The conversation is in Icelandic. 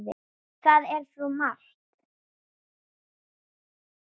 Það er svo margt!